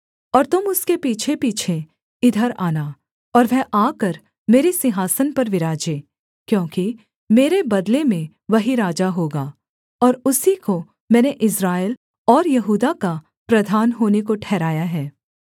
और तुम उसके पीछेपीछे इधर आना और वह आकर मेरे सिंहासन पर विराजे क्योंकि मेरे बदले में वही राजा होगा और उसी को मैंने इस्राएल और यहूदा का प्रधान होने को ठहराया है